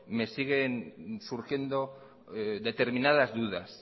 me siguen surgiendo determinadas dudas